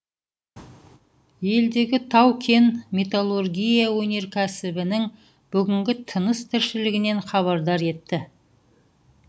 елдегі тау кен металлургия өнеркәсібінің бүгінгі тыныс тіршілігінен хабардар етті